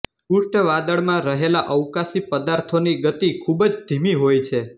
Oort વાદળમાં રહેલા અવકાશી પદાર્થોની ગતિ ખૂબ જ ધીમી હોય છે